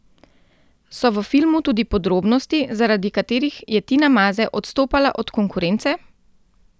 So v filmu tudi podrobnosti, zaradi katerih je Tina Maze odstopala od konkurence?